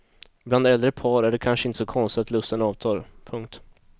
Bland äldre par är det kanske inte så konstigt att lusten avtar. punkt